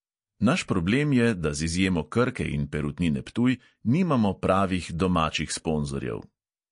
Naš problem je, da z izjemo krke in perutnine ptuj nimamo pravih domačih sponzorjev.